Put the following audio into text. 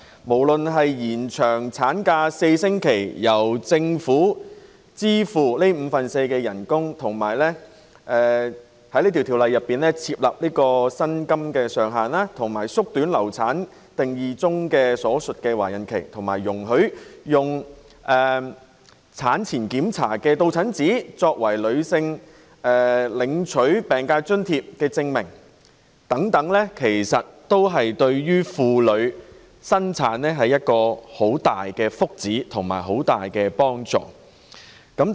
不論是延長產假4星期、由政府承擔五分之四的額外產假薪酬、在《條例草案》訂明額外產假薪酬上限、縮短"流產"定義中所述的懷孕期，以及容許以產前檢查的到診紙作為領取疾病津貼的證明等，對於懷孕婦女均是莫大福祉和幫助。